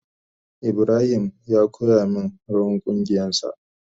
Ibrahim ya koya min rawan kungiyan sa.